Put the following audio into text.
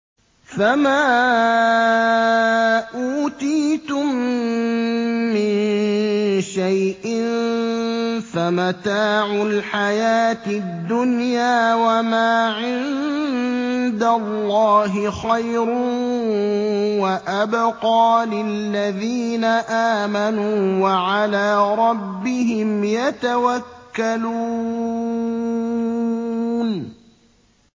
فَمَا أُوتِيتُم مِّن شَيْءٍ فَمَتَاعُ الْحَيَاةِ الدُّنْيَا ۖ وَمَا عِندَ اللَّهِ خَيْرٌ وَأَبْقَىٰ لِلَّذِينَ آمَنُوا وَعَلَىٰ رَبِّهِمْ يَتَوَكَّلُونَ